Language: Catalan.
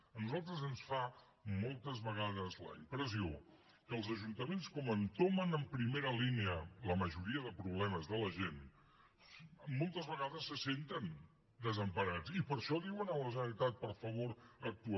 a nosaltres ens fa moltes vegades la impressió que els ajuntaments com que entomen en primera línia la majoria de problemes de la gent moltes vegades se senten desemparats i per això diuen a la generalitat per favor actua